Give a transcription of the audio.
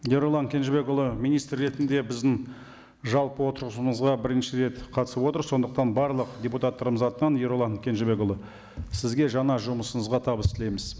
ерұлан кенжебекұлы министр ретінде біздің жалпы отырысымызға бірінші рет қатысып отыр сондықтан барлық депутаттарымыз атынан ерұлан кенжебекұлы сізге жаңа жұмысыңызға табыс тілейміз